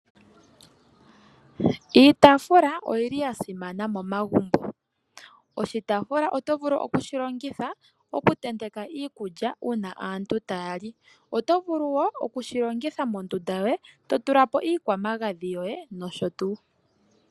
Iitaafula oyili ya simana momagumbo. Oshitaafula oto vulu oku shi longitha, oku teneka iikulya uuna aantu taya li . Oto vulu woo oku shi longitha mondunda yoye ,to tula po iikwamagadhi yoye nosho tuu.